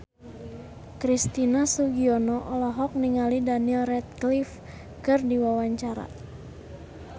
Christian Sugiono olohok ningali Daniel Radcliffe keur diwawancara